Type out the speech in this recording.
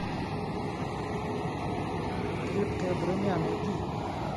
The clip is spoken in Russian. крепкая броня найди